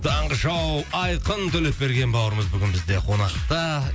таңғы шоу айқын төлепберген бауырымыз бүгін бізде қонақта